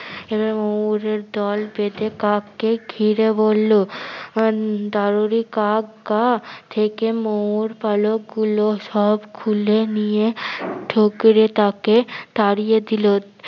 ময়ূরের দল বেঁধে কাককে ঘিরে বলল আহ দারুরি কাক গা থেকে ময়ূর পালকগুলো সব খুলে নিয়ে ঠোকরে তাকে তাড়িয়ে দিলো।